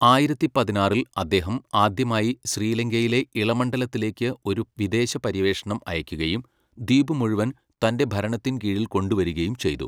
ആയിരത്തി പതിനാറിൽ അദ്ദേഹം ആദ്യമായി ശ്രീലങ്കയിലെ ഇളമണ്ഡലത്തിലേക്ക് ഒരു വിദേശപര്യവേഷണം അയയ്ക്കുകയും, ദ്വീപ് മുഴുവൻ തൻ്റെ ഭരണത്തിൻകീഴിൽ കൊണ്ടുവരികയും ചെയ്തു.